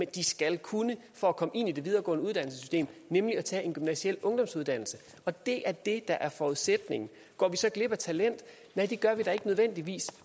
de skal kunne for at komme ind i det videregående uddannelsessystem nemlig tage en gymnasial ungdomsuddannelse og det er det der er forudsætningen går vi så glip af talent nej det gør vi da ikke nødvendigvis